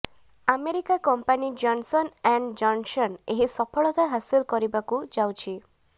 America company Johnson and Johnson ଏହି ସଫଳତା ହାସିଲ କରିବାକୁ ଯାଉଛି